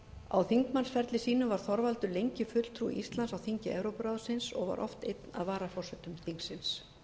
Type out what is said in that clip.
á þingmannsferli sínum var þorvaldur lengi fulltrúi íslands á þingi evrópuráðsins og var oft einn af varaforsetum þingsins